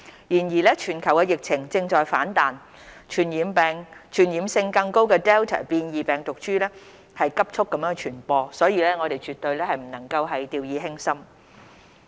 然而，全球疫情正在反彈，傳染性更高的 Delta 變異病毒株在急速傳播，我們絕不能掉以輕心。